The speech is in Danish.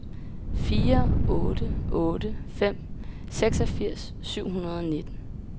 fire otte otte fem seksogfirs syv hundrede og nitten